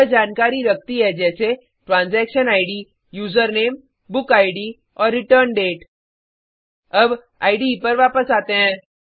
यह जानकारी रखती है जैसे transaction ID user name book ID और रिटर्न डेट अब इडे पर वापस आते हैं